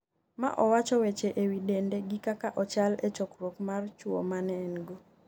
ma owacho weche ewi dende gi kaka ochal e chokruok mar chuwo mane en go